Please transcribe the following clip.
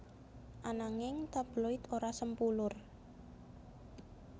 Ananging tabloid ora sempulur